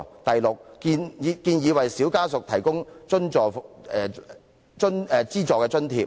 第六，我們建議為"小家屬"提供資助津貼。